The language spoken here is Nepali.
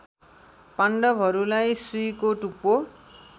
पाण्डवहरूलाई सुईको टुप्पो